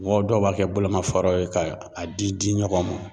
Mɔgɔw dɔw b'a kɛ bolomafaraw ye ka a di di ɲɔgɔn ma.